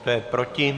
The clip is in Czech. Kdo je proti?